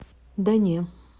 да не